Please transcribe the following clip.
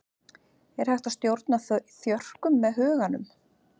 er hægt að stjórna þjörkum með huganum